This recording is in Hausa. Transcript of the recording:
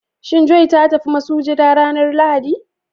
Shin "joy " ta tafi masujada ranar Lahadi?